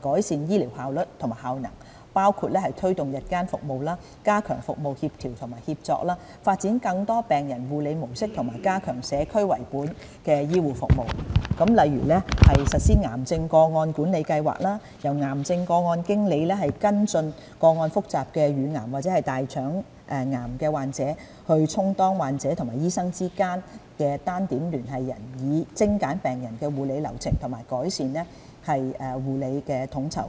改善醫療效率和效能，包括推動日間服務、加強服務協調和協作、發展更多病人護理模式及加強社區為本的醫護服務，例如實施癌症個案管理計劃，由癌症個案經理跟進個案複雜的乳癌或大腸癌患者，充當患者和醫生之間的單點聯繫人，以精簡病人的護理流程和改善護理統籌。